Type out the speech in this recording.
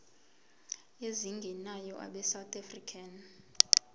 ezingenayo abesouth african